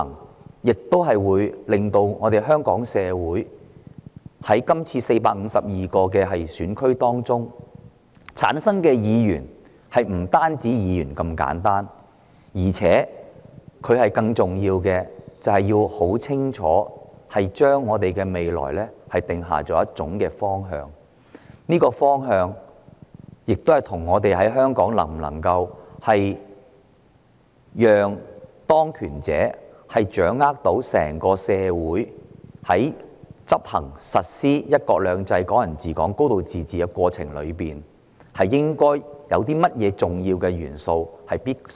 大家都很清楚，這次在452個選區中產生的並非只是普通區議員，他們將要為我們的未來定下清晰方向，包括會否讓當權者掌握整個香港社會，以及在實施"一國兩制"、"港人治港"及"高度自治"的過程中須涵蓋哪些重要元素。